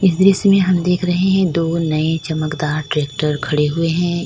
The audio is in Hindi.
दृश्य में हम देख रहे हैं दो नए चमकदार ट्रैक्टर खड़े हुए हैं।